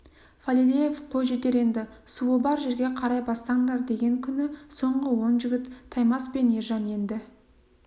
фалилеев қой жетер енді суы бар жерге қарай бастаңдар деген күні соңғы он жігіт таймас пен ержан енді